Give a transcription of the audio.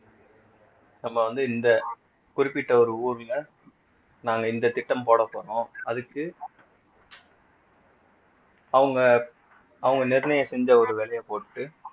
நம்ம வந்து இந்த குறிப்பிட்ட ஒரு ஊர்ல நாங்க இந்த திட்டம் போடப் போறோம் அதுக்கு அவங்க அவங்க நிர்ணயம் செஞ்ச ஒரு விலையை போட்டு